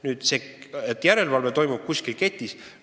Nüüd sellest, et järelevalve toimub kuskil ketis.